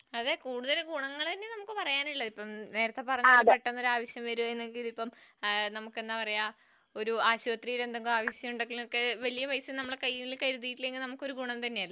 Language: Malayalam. അതെ കൂടുതൽ ഗുണങ്ങൾ തന്നെയാണ് നമ്മക്ക് പറയാനുള്ളത് . നേരെത്തെ പറഞ്ഞപോലെ ഇപ്പൊ പെട്ടെന്ന് എന്തെങ്കിലും ആവശ്യം വരികയാണെങ്കിൽ ആശുപത്രിയിൽ എന്തെങ്കിലും ആവശ്യം ഉണ്ടെങ്കിലൊക്കെ വലിയ പൈസ നമ്മളെ കയ്യിൽ കരുതിയിട്ടില്ലെങ്കിൽ നമുക്കൊരു ഗുണം തന്നെയല്ലേ